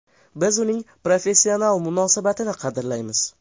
Biz uning professional munosabatini qadrlaymiz.